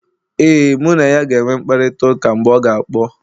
ee, mụ na ya ga-enwe mkparịta ụka mgbe ọ ga kpọ